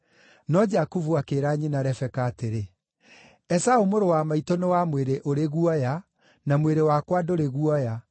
No Jakubu akĩĩra nyina Rebeka atĩrĩ, “Esaũ mũrũ wa maitũ nĩ wa mwĩrĩ ũrĩ guoya, na mwĩrĩ wakwa ndũrĩ guoya.